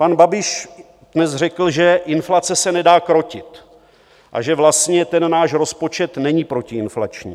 Pan Babiš dnes řekl, že inflace se nedá krotit a že vlastně ten náš rozpočet není protiinflační.